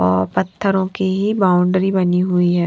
और पत्थरों की ही बाउंड्री बनी हुई है।